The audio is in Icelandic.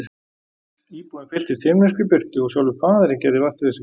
Íbúðin fylltist himneskri birtu og sjálfur Faðirinn gerði vart við sig.